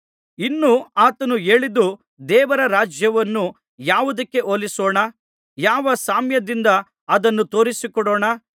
ಇನ್ನೂ ಆತನು ಹೇಳಿದ್ದು ದೇವರ ರಾಜ್ಯವನ್ನು ಯಾವುದಕ್ಕೆ ಹೋಲಿಸೋಣ ಯಾವ ಸಾಮ್ಯದಿಂದ ಅದನ್ನು ತೋರಿಸಿಕೊಡೋಣ